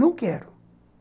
Não quero.